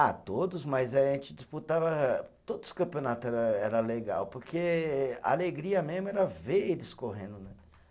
Ah, todos, mas aí a gente disputava. Todos os campeonato era era legal, porque a alegria mesmo era ver eles correndo, né?